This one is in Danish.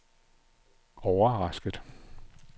overrasket